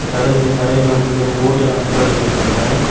கடலுக்கு கரையில வந்து கொஞ்சம் போட்டெல்லாம் நிப்பாட்டி வச்சிருக்காங்க.